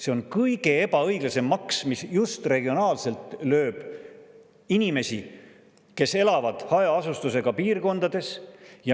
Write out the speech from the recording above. See on kõige ebaõiglasem maks, mis just regionaalselt lööb inimesi, kes elavad hajaasustusega piirkondades.